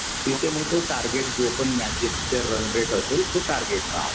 त्याच्या मग तो टार्गेट जो पण मॅचेसचा रनरेट असेल तो टार्गेट राहते.